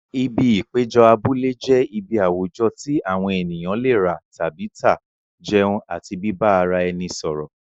Ibi ìpéjọ abúlé jẹ́ ibi àwùjọ tí àwọn ènìyàn lè rà tàbí tà, jẹun àti bíbá ara ẹni sọ̀rọ̀.